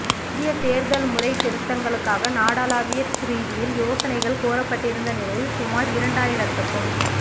புதிய தேர்தல் முறை திருத்தங்களுக்காக நாடளாவிய ரீதியில் யோசனைகள் கோரப்பட்டிருந்த நிலையில் சுமார் இரண்டாயிரத்துக்கும்